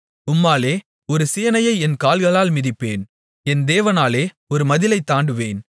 உம்மாலே ஒரு சேனையை என் கால்களால் மிதிப்பேன் என் தேவனாலே ஒரு மதிலைத் தாண்டுவேன்